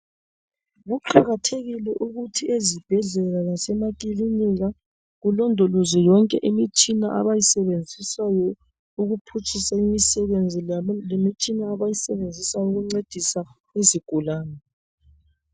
Kuqakathekile ukuthi esibhedlela lasemakilinika kulondolozwe yonke imitshina abayisebenzisayo ukuphutshisa imisebenzi yabo lemitshina abayisebenzisa ukuncedisa izigulane.